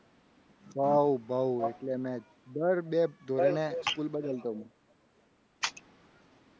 બહુ બહુ એટલે મેં દર બે ધોરણ એ school બદલી બદલતો. હું